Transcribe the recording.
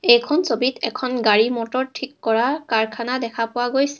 এইখন ছবিত এখন গাড়ী মটৰ ঠিক কৰা কাৰখানা দেখা পোৱা গৈছে.